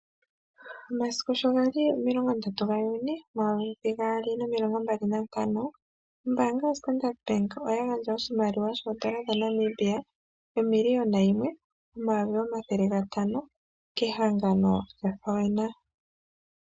Omasiku shogali 30/06/2025, ombaanga yoStandard bank oyagandja oshimaliwa shoN$1 500 000.00 kehangano lya FAWENA.